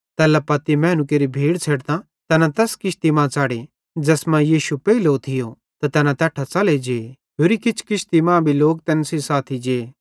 तैल्हेरेलेइ मैनू केरि भीड़ छ़ेडतां तैना तैस किश्ती मां च़ड़े ज़ैस मां यीशु पेइलो थियो त तैना तैट्ठां च़ले जे होरि किछ किश्ती मां भी लोक तैन सेइं साथी जे